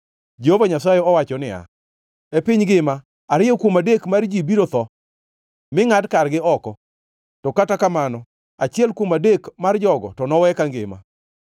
Jehova Nyasaye owacho niya, “E piny ngima, ariyo kuom adek mar ji biro tho mi ngʼad kargi oko; to kata kamano, achiel kuom adek mar jogo to nowe kangima.